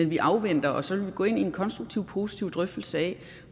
vi afventer og så vil vi gå ind i en konstruktiv og positiv drøftelse af